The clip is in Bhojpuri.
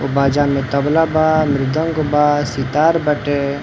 ओ बाजा में तबला बा मृदंग बा सितार बाटे।